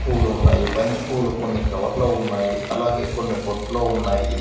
పూలు ఉన్నాయి. బంతి పూలు కొన్ని కవర్ లో ఉన్నాయి. అలాగే కొన్ని బుట్టలో ఉన్నాయి.